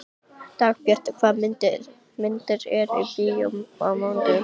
Dagbjartur, hvaða myndir eru í bíó á mánudaginn?